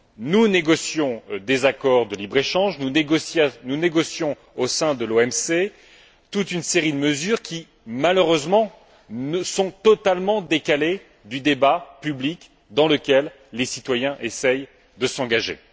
nous négocions des accords de libre échange, nous négocions au sein de l'OMC toute une série de mesures qui, malheureusement, sont totalement décalées du débat public dans lequel les citoyens essaient de s'engager.